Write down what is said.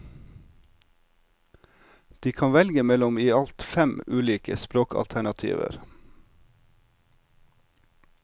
De kan velge mellom i alt fem ulike språkalternativer.